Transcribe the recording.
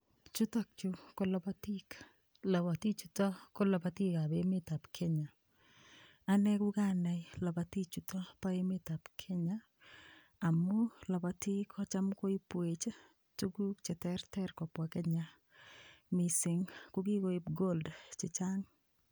Chutokchu ko lopotik lopoti chuto kolopotikab emetab Kenya ane kukanai lopotichuto bo emetab Kenya amu lapotik kocham koipwech tukuk cheterter kobwa Kenya mising' kokikoip gold chechang'